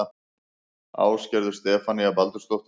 Ásgerður Stefanía Baldursdóttir